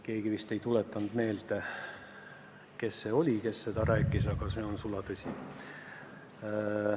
Keegi ei tuletanud mulle meelde, kes see oli, kes seda rääkis, aga see jutt on sulatõsi.